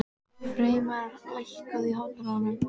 Freymar, lækkaðu í hátalaranum.